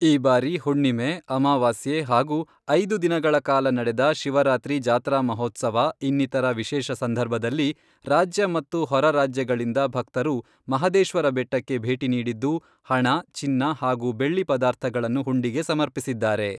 ಈ ಬಾರಿ ಹುಣ್ಣಿಮೆ, ಅಮಾವಾಸ್ಯೆ ಹಾಗೂ ಐದು ದಿನಗಳ ಕಾಲ ನಡೆದ ಶಿವರಾತ್ರಿ ಜಾತ್ರಾ ಮಹೋತ್ಸವ ಇನ್ನಿತರ ವಿಶೇಷ ಸಂದರ್ಭದಲ್ಲಿ ರಾಜ್ಯ ಮತ್ತು ಹೊರರಾಜ್ಯಗಳಿಂದ ಭಕ್ತರು ಮಹದೇಶ್ವರಬೆಟ್ಟಕ್ಕೆ ಭೇಟಿ ನೀಡಿದ್ದು, ಹಣ, ಚಿನ್ನ ಹಾಗೂ ಬೆಳ್ಳಿ ಪದಾರ್ಥಗಳನ್ನು ಹುಂಡಿಗೆ ಸಮರ್ಪಿಸಿದ್ದಾರೆ.